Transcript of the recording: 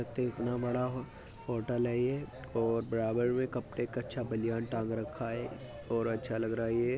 एक तो इतना बड़ा होटल है ये और बराबर मे कपड़े कच्छा बनियान टांग रखा है और अच्छा लग रहा है ये --